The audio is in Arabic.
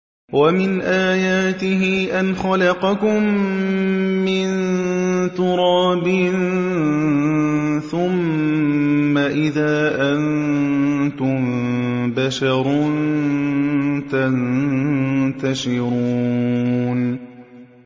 وَمِنْ آيَاتِهِ أَنْ خَلَقَكُم مِّن تُرَابٍ ثُمَّ إِذَا أَنتُم بَشَرٌ تَنتَشِرُونَ